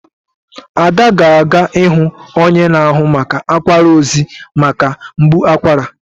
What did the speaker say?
Ada ga-aga ịhụ onye na-ahụ maka akwara ozi maka mgbu akwara.